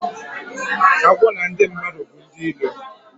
Agwọ na ndi madu bu ndi ilo